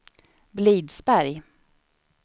Blidsberg